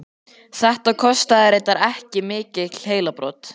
Þetta kostaði reyndar ekki mikil heilabrot.